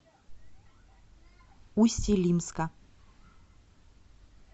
усть илимска